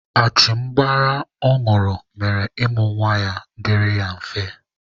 Achịmgbara ọ ñụrụ mere ịmụ nwa dịrị ya mfe.